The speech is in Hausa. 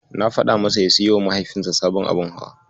Na faɗa masa ya siyowa Mahaifinsa sabon abun hawa.